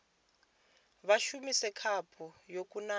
vha shumise khaphu yo kunaho